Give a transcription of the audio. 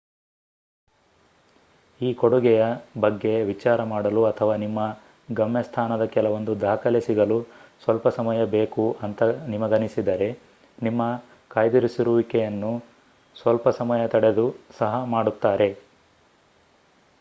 ಈ ಕೊಡುಗೆಯ ಬಗ್ಗೆ ವಿಚಾರ ಮಾಡಲು ಅಥವಾ ನಿಮ್ಮ ಗಮ್ಯಸ್ಥಾನದ ಕೆಲವೊಂದು ದಾಖಲೆ ಸಿಗಲು ಸ್ವಲ್ಪ ಸಮಯ ಬೇಕು ಅಂತ ನಿಮಗನಿಸಿದರೆ ನಿಮ್ಮ ಕಾಯ್ದಿರಿಸುವಿಕೆಯನ್ನು ಸ್ವಲ್ಪ ಸಮಯ ತಡೆದು ಸಹ ಮಾಡುತ್ತಾರೆ